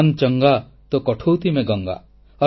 ମନ୍ ଚଙ୍ଗା ତୋ କଠୌତି ମେଁ ଗଙ୍ଗା